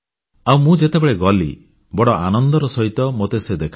ଆଉ ମୁଁ ଯେତେବେଳେ ଗଲି ବଡ଼ ଆନନ୍ଦର ସହିତ ମୋତେ ସେ ଦେଖାଇଲେ